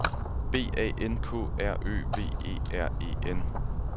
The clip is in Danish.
B A N K R Ø V E R E N